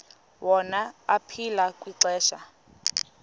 wona aphila kwixesha